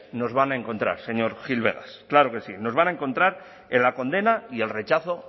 nos van a encontrar señor gil vegas claro que sí nos van a encontrar en la condena y el rechazo